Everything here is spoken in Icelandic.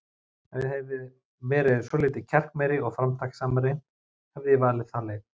Ef ég hefði verið svolítið kjarkmeiri og framtakssamari, hefði ég valið þá leið.